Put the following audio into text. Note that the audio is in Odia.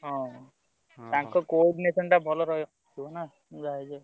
ହଁ ତାଙ୍କ coordination ଟା ଭଲ ରହିବ ନାଁ ।